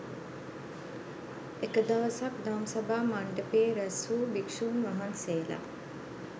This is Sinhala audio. එක දවසක් දම්සභා මණ්ඩපයේ රැස් වූ භික්ෂූන් වහන්සේලා